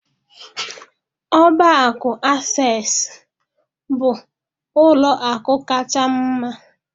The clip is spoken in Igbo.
Ọbá akụ Asesụ bụ ụlọ akụ kacha m mma.